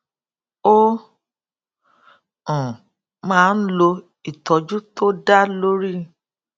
ó um máa ń lo ìtójú tó dá lórí